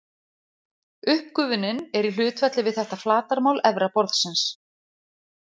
Uppgufunin er í hlutfalli við þetta flatarmál efra borðsins.